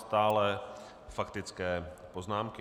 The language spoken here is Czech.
Stále faktické poznámky.